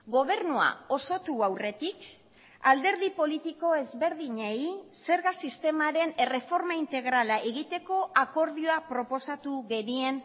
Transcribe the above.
gobernua osotu aurretik alderdi politiko ezberdinei zerga sistemaren erreforma integrala egiteko akordioa proposatu genien